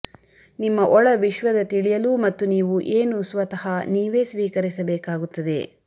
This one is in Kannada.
ನಿಮ್ಮ ಒಳ ವಿಶ್ವದ ತಿಳಿಯಲು ಮತ್ತು ನೀವು ಏನು ಸ್ವತಃ ನೀವೇ ಸ್ವೀಕರಿಸಬೇಕಾಗುತ್ತದೆ